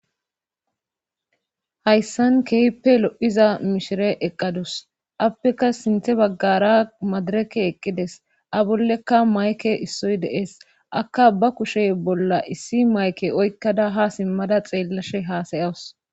hayssan keepe lo7iza mishire eqqadus appeka sinthe baggara madireke eqqides a bollekka mayke issoy dees akka ba kushey bolla issi mayke oykkada ha simmada xeellashe haasayawus